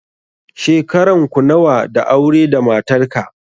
Shekaran ku nawa da aure da matarka?